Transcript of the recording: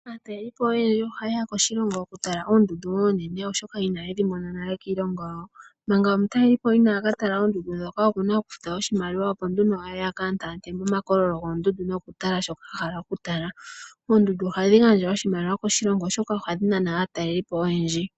Aatalelipo oyendji ohayeya koshilongo okutala oondundu oonene oshoka ina yedhi mona nale kiilongo yawo, manga omutalelipo ina ka tala oondundu ndhoka okuna okufuta osimaliwa opo nduno aye oka ante ante moma kololo goondundu noku tala sho a hala oku tala, oondundu ohadhi gandja oshimaliwa koshilongo oshoka ohadhi nana aatalelipo oyendji.